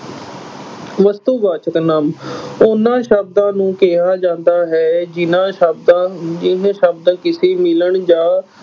ਵਸਤੂਵਾਚਕ ਨਾਂਵ ਉਨ੍ਹਾਂ ਸ਼ਬਦਾਂ ਨੂੰ ਕਿਹਾ ਜਾਂਦਾ ਹੈ ਜਿੰਨਾਂ ਸ਼ਬਦਾਂ ਅਮ ਜਿਵੇਂ ਸ਼ਬਦ ਕਿਸੇ ਮਿਲਣ ਜਾਂ